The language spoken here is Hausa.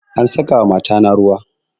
An saka wa mata na ruwa